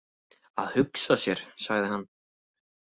Að hugsa sér, sagði hann.